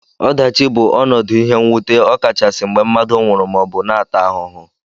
Ọdachi bụ ọnọdụ ihe nwute okachasi mgbe mmadụ nwụrụ maọbu na ata ahụhụ.